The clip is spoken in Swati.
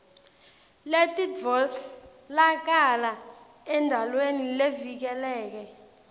letitfolakala endalweni tivikeleke